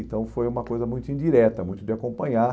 Então foi uma coisa muito indireta, muito de acompanhar.